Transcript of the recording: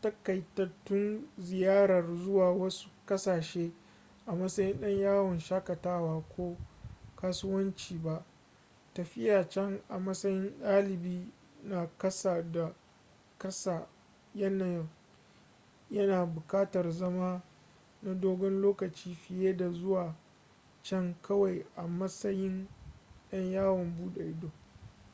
taƙaitattun ziyarar zuwa wasu ƙasashe a matsayin ɗan yawon shakatawa ko kasuwanci ba tafiya can a matsayin dalibi na ƙasa da ƙasa yana buƙatar zama na dogon lokaci fiye da zuwa can kawai a matsayin ɗan yawon buɗe ido